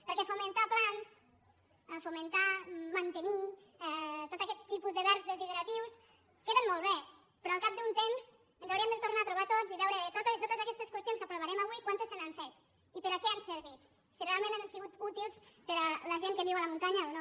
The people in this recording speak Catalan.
perquè fomentar plans fomentar mantenir tot aquest tipus de verbs desideratius queden molt bé però al cap d’un temps ens hauríem de tornar a trobar tots i veure de totes aquests qüestions que aprovarem avui quantes se n’han fet i per què han servit si realment han sigut útils per a la gent que viu a la muntanya o no